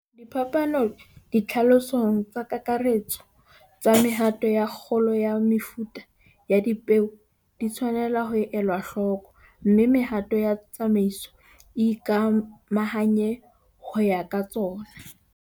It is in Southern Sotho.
Diphapano ditlhalosong tsa kakaretso tsa mehato ya kgolo ya mefuta ya dipeo di tswanetse ho elwa hloko, mme mehato ya tsamaiso e ikamahanye ho ya ka tsona.